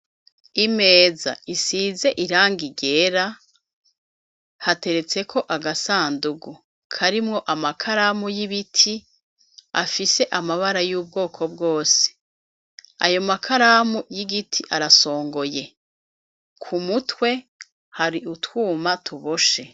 Imeza isize irangi ryera, hateretseko agasandugu karimwo amakaramu y'ibiti afise amabara y'ubwoko bwose, ayo makaramu y'igiti arasongoye, ku mutwe hari utwuma tuboshe.